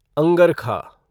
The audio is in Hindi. अंगरखा